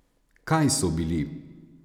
Kaj so bili?